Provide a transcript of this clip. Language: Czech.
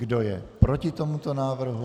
Kdo je proti tomuto návrhu?